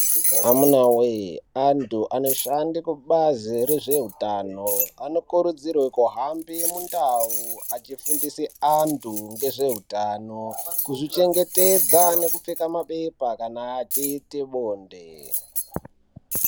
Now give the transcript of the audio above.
Amuna wee andu anoshande kubazi rezveutano anokurudzirwa kuhambr mundawu achifundise andu ngezveutano kuzvichengetedza nekupfeka mabepa kana achiite bonde.